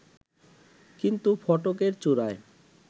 কিন্তু ফটকের চূড়ায়